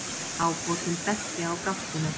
Ábótinn benti á gáttina.